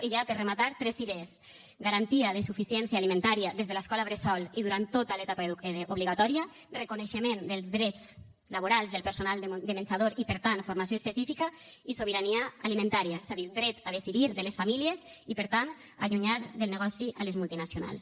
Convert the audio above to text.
i ja per rematar tres idees garantia de suficiència alimentària des de l’escola bressol i durant tota l’etapa obligatòria reconeixement dels drets laborals del personal de menjador i per tant formació específica i sobirania alimentària és a dir dret a decidir de les famílies i per tant allunyar del negoci les multinacionals